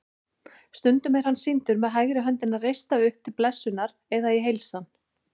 Stundum er hann sýndur með hægri höndina reista upp til blessunar eða í heilsan.